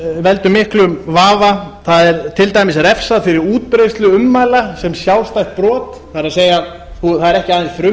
veldur miklum vafa það er til dæmis refsað fyrir útbreiðslu ummæla sem sjálfstætt brot það er það er ekki aðeins